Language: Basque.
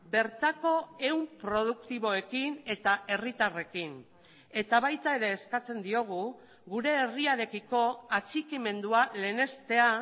bertako ehun produktiboekin eta herritarrekin eta baita ere eskatzen diogu gure herriarekiko atxikimendua lehenestea